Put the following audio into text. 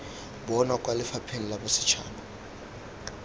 bonwa kwa lefapheng la bosetšhaba